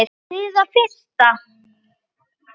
Fyrir það fyrsta